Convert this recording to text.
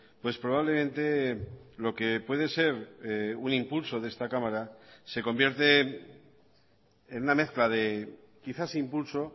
pues probablemente lo que puede ser un impulso de esta cámara se convierte en una mezcla de quizás impulso